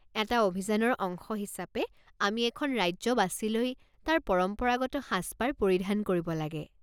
এটা অভিযানৰ অংশ হিচাপে আমি এখন ৰাজ্য বাছি লৈ তাৰ পৰম্পৰাগত সাজপাৰ পৰিধান কৰিব লাগে।